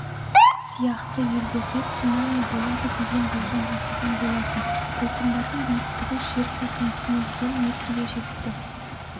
сияқты елдерде цунами болады деген болжам жасаған болатын толқындардың биіктігі жер сілкінісінен соң метрге жетті